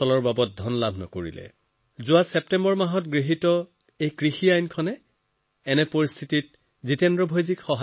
এনে স্থিতিত তেওঁৰ সহায় কৰে ছেপ্টেম্বৰ মাহত পাছ হোৱা যি নতুন কৃষি আইন প্ৰস্তুত হৈছে সেয়া তেওঁৰ কামত আহে